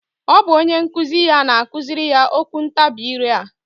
Ọ bụ onyenkuzi ya na-akụzirị ya okwuntabi ire a